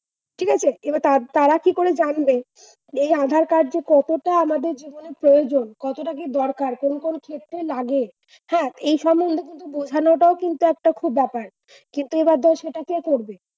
ঠিক আছে এবার তার তারা কি করে জানবে? এই আধার-কার্ড যে কতটা আমাদের জীবনে প্রয়োজন? কতটা যে দরকার? কোন কোন ক্ষেত্রে লাগে? হ্যাঁ এই সম্বন্ধে বোঝান কিন্তু খুব একটা ব্যাপার। কিন্তু এ ব্যাপারে সেটা কে করবে?